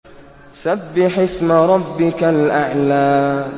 سَبِّحِ اسْمَ رَبِّكَ الْأَعْلَى